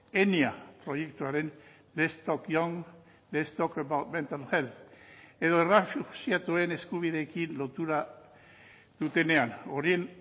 edo errefuxiatuen eskubideekin lotura dutenean horien